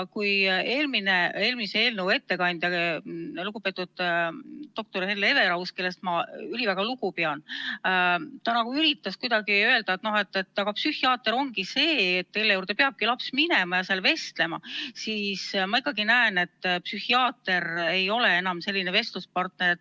Eelmise eelnõu ettekandja, lugupeetud doktor Hele Everaus, kellest ma üliväga lugu pean, üritas nagu kuidagi öelda, et aga psühhiaater ongi see, kelle juurde peab laps minema ja kellega vestlema, kuid mina ikkagi näen, et psühhiaater ei ole enam selline vestluspartner.